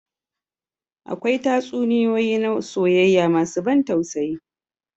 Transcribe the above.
Akwai tatsuniyoyi na soyayya masu ban tausayi.